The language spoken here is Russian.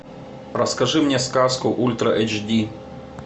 расскажи мне сказку ультра эйч ди